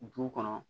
Du kɔnɔ